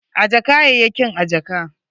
Ajje kayayyakin a jaka.